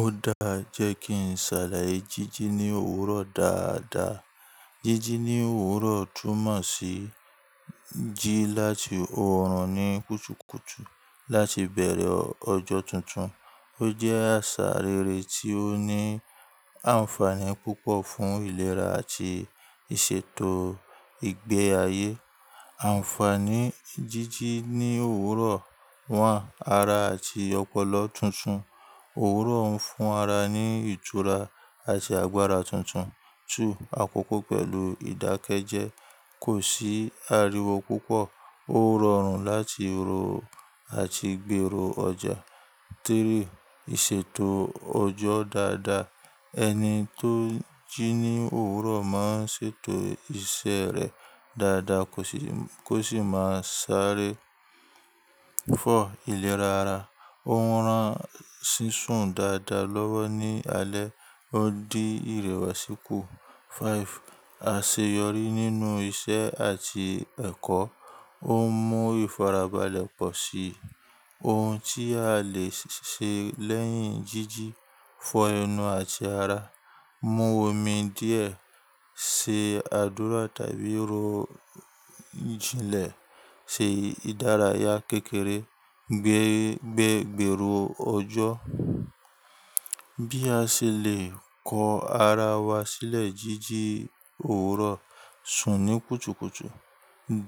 Ó dáa jẹ́ kí n ṣàlàyé jíjí ní òwúrọ̀ dáadáa. Jíjí ní òwúrọ̀ túmọ̀ sí jí láti oòrùn ní kùtùkùtù láti bẹ̀rẹ̀ ọjọ́ tuntun. Ó jẹ́ àṣà rere tí ó ní àǹfààní púpọ̀ fún ìlera àti ìṣètò ìgbé ayé. Àǹfààní jíjí ní òwúrọ̀.1. Ara àti ọpọlọ tuntun. Òwúrọ̀ ń fún ara ní ìtura àti agbára tuntun. 2. Àkókò pẹ̀lú ìdákẹ́jẹ́ kò sì ariwo púpọ̀. Ó rọrùn láti ro àti gbèrò ọjà. 3. Ìṣètò ọjọ́ dáadáa. Ẹni tó n jí ní òwúrọ̀ máa ń ṣètò iṣẹ́ rẹ̀ dáadáa kó sì máa sáré. 4. Ìlera ara. Ó ń rán sísun dáadáa lọ́wọ́ ní alẹ́, ó dí ìrẹwà síkù. 5. Àṣeyọrí nínú iṣẹ́ àti ẹ̀kọ́. Ó ń mú ìfarabalẹ̀ pọ̀ sí ohun tí a lè ṣe lẹ́yìn jíjí. Fọ ẹnu àti ara, mu omi díẹ̀, ṣe àdúrà tàbí ro jinlẹ̀, ṣe ìdárayá kékeré, gbégbè gbèrò ọjọ́. Bí a ṣe lè kọ ara wa sílẹ̀ jíjí òwúrọ̀, sùn ní kùtùkùtù,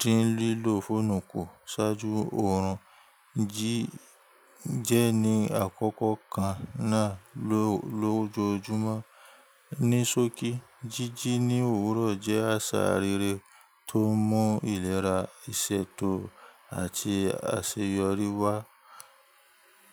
dín lílò fóònù kù ṣáájú oòrùn, jí jẹ ni àkókò kan náà lójoojúmọ́. Ní sókí, jíjí ní òwúrọ̀ jẹ́ àṣà rere tó ń mú ìlera, ìṣètò àti àṣeyọrí wá.